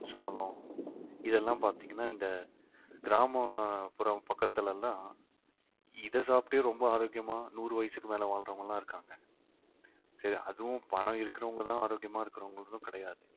சோளம் இதெல்லாம் பாத்தீங்கன்னா இந்த கிராமப்புறம் பக்கத்துல எல்லாம் இதை சாப்பிட்டு ரொம்ப ஆரோக்கியமா நூறு வயசுக்கு மேல வாழ்றவங்க எல்லாம் இருக்காங்க சரி அதுவும் பணம் இருக்கிறவங்கதான் ஆரோக்கியமா இருக்கிறவங்களுக்கும் கிடையாது